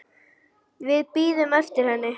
Við bíðum eftir henni